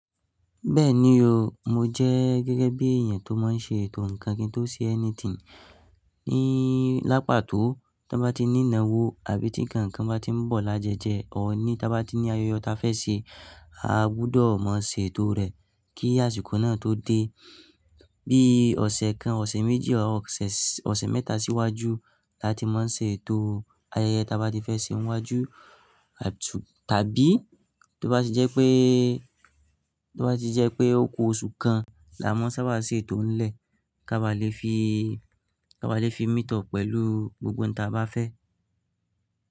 Bẹ́ẹ̀ni o, mo jẹ́ gẹ́gẹ́ bí èèyàn tó máa n ṣe ètò nǹkan kí n tó ṣe anything. Ní lápà tó tí bá ti ní ìnáwó àbí tí kankan bá tí ń bọ̀ lájẹjẹ, ò ní tí bá ti ní ayẹyẹ ta fẹ́ ṣe, a gbúdọ̀ máa ṣe ètò rẹ̀ kí àsìkò náà tó dé. Bí ọ̀sẹ̀ kan, ọ̀sẹ̀ méjì ọ̀ sé, ọ̀sẹ̀ mẹ́ta síwájú la ti máa ń ṣe ètò ayẹyẹ ta bá ti fẹ́ ṣe n iwájú. Tàbí tó bá ti jẹ́ pé, tó bá ti jẹ́ pé ó ku oṣù kan, là máa sábà ṣe ètò ń lè ká bá lè fi, ká bá lè fi meet up pẹ̀lú gbogbo ohun ta bá fẹ́.